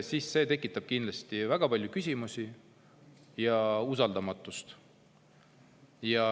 –, siis see tekitab kindlasti väga palju küsimusi ja usaldamatust.